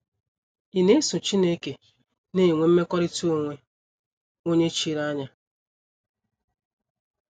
Ị̀ na - eso Chineke na - enwe mmekọrịta onwe onye chiri anya?